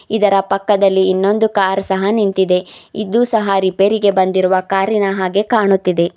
ಇದರ ಪಕ್ಕದಲ್ಲಿ ಇನ್ನೊಂದು ಕಾರ್ ಸಹ ನಿಂತಿದೆ ಇದು ಸಹಾ ರೀಪೇರಿಗೆ ಬಂದಿರುವ ಕಾರಿನ ಹಾಗೆ ಕಾಣುತ್ತಿದೆ.